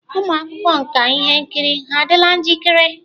Ụmụ akwụkwọ nka ihe nkiri ha adịla njikere?